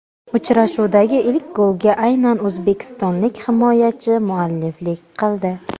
Uchrashuvdagi ilk golga aynan o‘zbekistonlik himoyachi mualliflik qildi.